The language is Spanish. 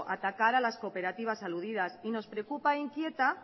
atacar a las cooperativas aludidas y nos preocupa e inquieta